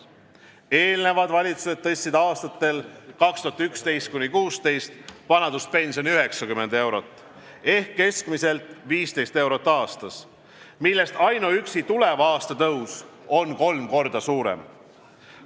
Eelnevad valitsused tõstsid aastatel 2011–2016 vanaduspensioni 90 eurot ehk keskmiselt 15 eurot aastas, millest ainuüksi tuleva aasta tõus on kolm korda suurem.